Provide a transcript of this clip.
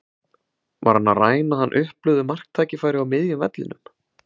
Var hann að ræna hann upplögðu marktækifæri á miðjum vellinum?